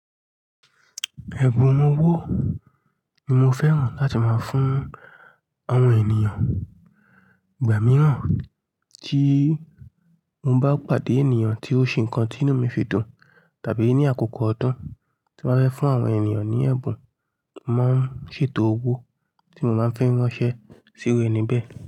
Ẹ̀bùn awọn owo ni mo fẹ́ràn láti máa fún àwọn ènìyàn. Ìgbà mìíràn tí mo bá pàdé ènìyàn tí ó ṣe nǹkan tí inú mi fi dùn tàbí ní àkókò ọdún tí mo fẹ́ fún àwọn ènìyàn ní ẹ̀bùn, màá ń ṣètò owó tí mo máa fẹ́ ránṣẹ́ sí orí ẹni bẹ́ẹ̀.